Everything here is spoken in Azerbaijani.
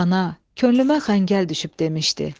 Ana, könlümə xəngəl düşüb demişdi.